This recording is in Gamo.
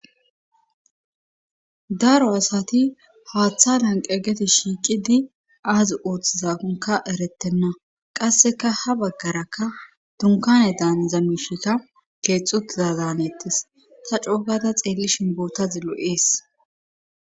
daro asati haaththa lanqegeti shiiqidi aazi ooththizaonka erettenna qasseka ha baggaraka tunkane daanzamishita keexxutiza zaanettes ta coogada xeelli shinboota zillo7ees